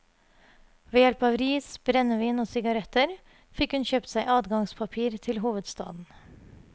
Ved hjelp av ris, brennevin og sigaretter fikk hun kjøpt seg adgangspapir til hovedstaden.